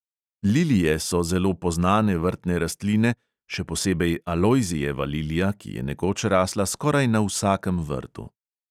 Lilije so zelo poznane vrtne rastline, še posebej alojzijeva lilija, ki je nekoč rasla skoraj na vsakem vrtu.